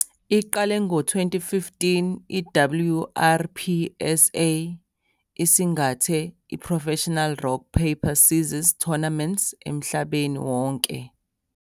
Iqale ngo-2015 i-WRPSA isingathe i-Professional Rock Paper Scissors Tournaments emhlabeni wonke.